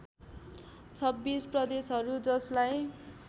२६ प्रदेशहरू जसलाई